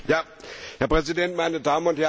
Herr Präsident, meine Damen und Herren!